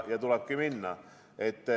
Ja tulebki minna.